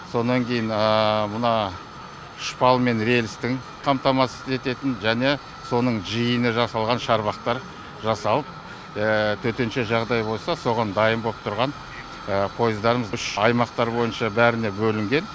сонан кейін мына үш бал мен релстің қамтамасыз ететін және соның жиыны жасалған шарбақтар жасалып төтенше жағдай болса соған дайын боп тұрған поездардың үш аймақтар бойынша бәріне бөлінген